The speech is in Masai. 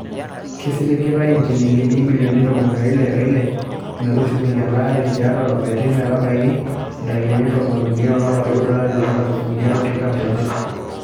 Kisiligitay injilingini ibilioni ntomoni ile o ile metushukunyia elaare tiatu lapaitin ile metabaiki intarikini ntomon uniii olapa leoudoo olari loonkalifuni are o tikitam obo.